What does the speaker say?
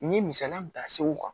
N ye misaliya min ta segu kan